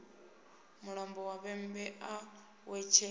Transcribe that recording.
mulambo wa vhembe a wetshela